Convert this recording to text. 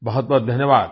बहुत बहुत धन्यवाद